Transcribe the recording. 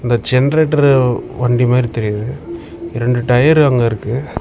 Generator வண்டி மாரி தெரியுது ரெண்டு டயர் அங்க இருக்கு.